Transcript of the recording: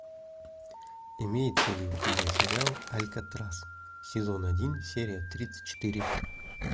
имеется ли у тебя сериал алькатрас сезон один серия тридцать четыре